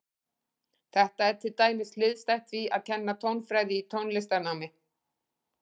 Þetta er til dæmis hliðstætt því að kenna tónfræði í tónlistarnámi.